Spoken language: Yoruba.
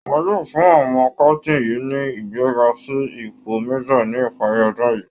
Wọ́n yóò fún àwọn captain yìí ní ìgbéga sí ipò májor ní ìparí ọdún yìí